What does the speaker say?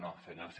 no senyors